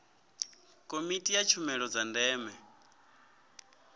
komiti ya tshumelo dza ndeme